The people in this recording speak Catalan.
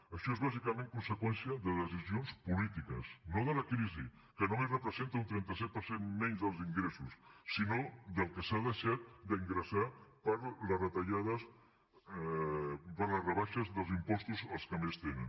això és bàsicament conseqüència de decisions polítiques no de la crisi que només representa un trenta set per cent menys dels ingressos sinó del que s’ha deixat d’ingressar per les rebaixes dels impostos als que més tenen